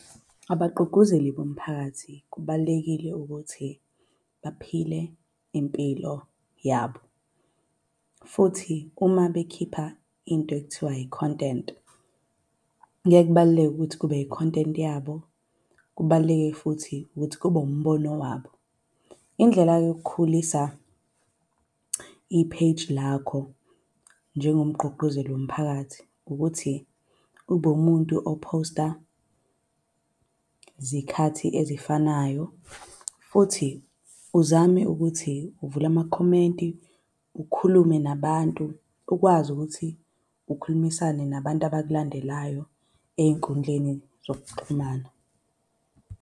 Abagqugquzeli bomphakathi kubalulekile ukuthi baphile impilo yabo, futhi uma bekhipha into ekuthiwa i-content kuye kubaluleke ukuthi kube i-content yabo. Kubaluleke futhi ukuthi kube umbono wabo. Indlela yokukhulisa i-page lakho njengomqguqguzeli womphakathi ukuthi ube umuntu ophosta zikhathi ezifanayo futhi uzame ukuthi uvule amakhomenti ukhulume nabantu, ukwazi ukuthi ukhulumisane nabantu abakulandelayo ey'nkundleni zokuxhumana.